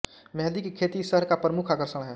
मेहंदी की खेती इस शहर का प्रमुख आकर्षण है